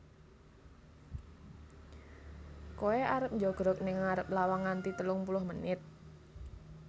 Koe arep njogrog ning arep lawang nganti telung puluh menit?